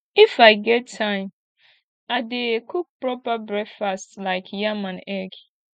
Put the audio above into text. if i get time i dey cook proper breakfast like yam and egg